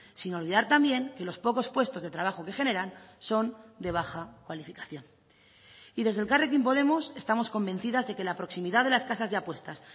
sin olvidar también que los pocos puestos de trabajo que generan son de baja cualificación y desde elkarrekin podemos estamos convencidas de que la proximidad de las casas de apuestas